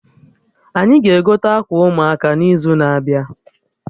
Anyị ga-egote akwa ụmụaka n'izu na-abịa